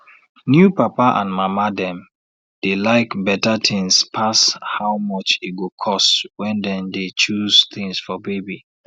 new papa and mama dem dey like better things pass how much e go cost when dem dey choose things for baby